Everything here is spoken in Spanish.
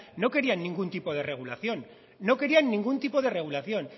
no querían ningún tipo de regulación